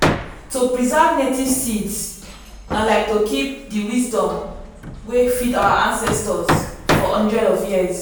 to preserve native seeds na like to keep the wisdom wey feed our ancestors for hundreds of years.